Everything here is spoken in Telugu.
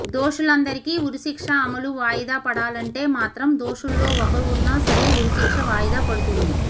దోషులందరికి ఉరిశిక్ష అమలు వాయిదా పడాలంటే మాత్రం దోషుల్లో ఒకరు ఉన్నా సరే ఉరిశిక్ష వాయిదా పడుతుంది